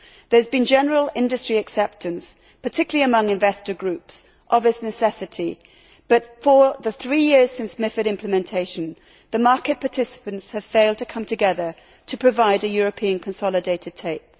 There has been general industry acceptance, particularly among investor groups, of its necessity but, for the three years since MiFID implementation, the market participants have failed to come together to provide a European consolidated tape.